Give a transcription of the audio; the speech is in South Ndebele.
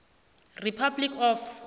s republic of